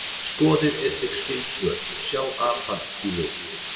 Skoðið einnig skyld svör: Sjá apar í lit?